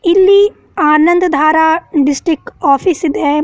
ಇಲ್ಲಿ ಆನಂದ ದಾರ ಡಿಸ್ಟ್ರಿಕ್ಟ್ ಆಫೀಸ್ ಇದೆ.